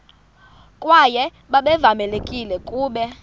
kwaye babevamelekile ukuba